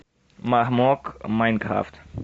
мармок майнкрафт